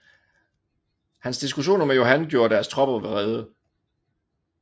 Hans diskussioner med Johan gjorde deres tropper vrede